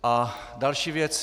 A další věc.